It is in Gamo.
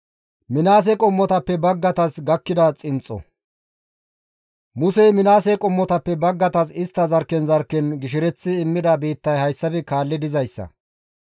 Musey Minaase qommotappe baggaytas istta zarkken zarkken gishereththi immida biittay hayssafe kaalli dizayssa.